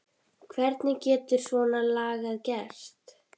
Hvernig getur svona lagað gerst?